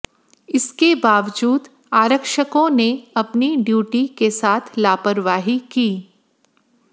इसके बावजूद आरक्षकों ने अपनी ड्यूटी के साथ लापरवाही की